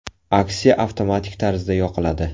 Aksiya avtomatik tarzda yoqiladi.